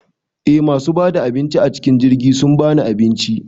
Eh masu bada abinci acikin jirgi sun bani abinci